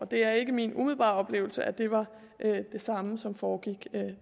det er ikke min umiddelbare oplevelse at det var det samme som foregik